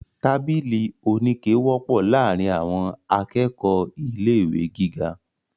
Tábìlì oníke wọ́pọ̀ láàrín àwọn akẹ́kọ̀ọ̀ ilé ìwé gíga.